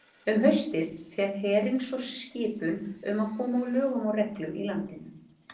Um haustið fékk herinn svo skipun um að koma á lögum og reglu í landinu.